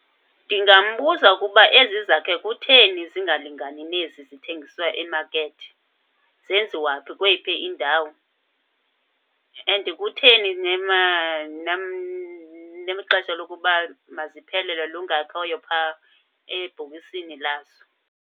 Ndingambuza ukuba ezi zakhe kutheni zingalingani nezi zithengiswa emakethi. Zenziwa phi, kweyiphi indawo? And kutheni namaxesha lokuba maziphelelwe lungekhoyo phaa ebhokisini lazo?